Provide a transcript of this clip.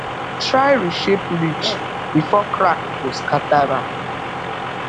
try reshape ridge before crack go scatter am